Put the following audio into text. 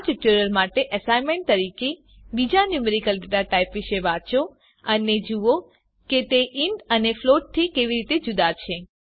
આ ટ્યુટોરીયલ માટે એસાઈનમેંટ તરીકે બીજા ન્યુમેરીકલ ડેટા ટાઇપ વિશે વાંચો અને જુઓ કે તે ઇન્ટ અને ફ્લોટ થી કેવી રીતે જુદા છે